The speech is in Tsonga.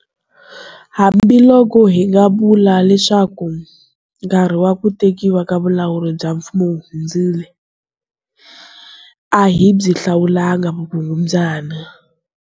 Hambiloko hi nga vula leswaku nkarhi wa ku tekiwa ka vulawuri bya mfumo wu hundzile, a hi byi hlawulangi vukungundzwana.